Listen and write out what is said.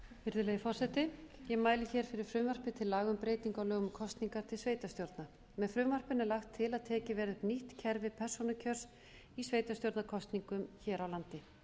virðulegi forseti ég mæli fyrir frumvarpi til laga um breytingu á lögum um kosningar til sveitarstjórna með frumvarpinu er lagt til að tekið verði upp nýtt kerfi persónukjörs í sveitarstjórnarkosningum hér á landi